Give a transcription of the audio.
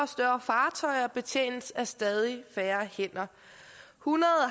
fartøjer betjenes af stadig færre hænder hundrede